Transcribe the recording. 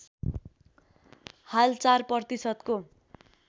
हाल ४ प्रतिशतको